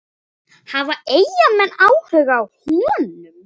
Hafa Eyjamenn áhuga á honum?